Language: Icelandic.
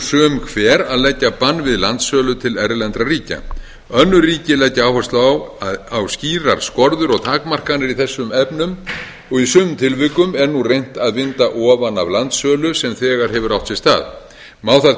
sum hver að leggja bann við landsölu til erlendra aðila önnur ríki leggja áherslu á skýrar skorður og takmarkanir í þessum efnum og í sumum tilvikum er nú reynt að vinda ofan af landsölu sem þegar hefur átt sér stað má þar